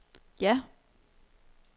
ja